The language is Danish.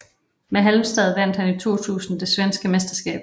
Med Halmstad vandt han i 2000 det svenske mesterskab